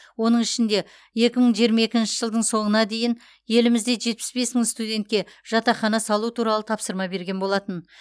оның ішінде екі мың жиырма екінші жылдың соңына дейін елімізде жетпіс бес мың студентке жатақхана салу туралы тапсырма берген болатын